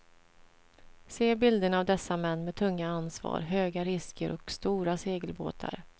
Se bilderna av dessa män med tunga ansvar, höga risker och stora segelbåtar.